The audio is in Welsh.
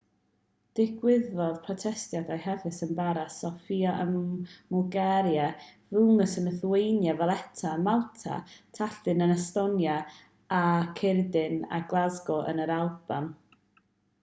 digwyddodd protestiadau hefyd yn paris sofia ym mwlgaria vilnius yn lithwania valetta ym malta tallinn yn estonia a chaeredin a glasgow yn yr alban